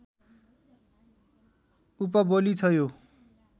उपबोली छ यो